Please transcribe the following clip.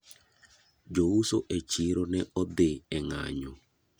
Jo uso e chiro ne odhi e ng'anyo.